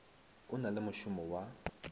o na le mošomo wa